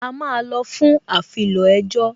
A máa lọ fún afilọ ẹjọ́